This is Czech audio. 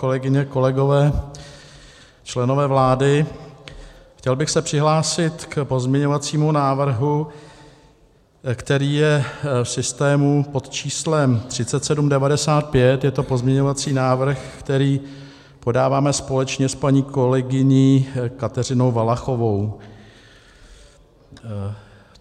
Kolegyně, kolegové, členové vlády, chtěl bych se přihlásit k pozměňovacímu návrhu, který je v systému pod číslem 3795, je to pozměňovací návrh, který podáváme společně s paní kolegyní Kateřinou Valachovou.